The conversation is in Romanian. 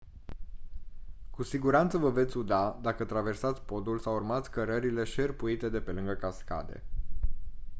cu siguranță vă veți uda dacă traversați podul sau urmați cărările șerpuite de pe lângă cascade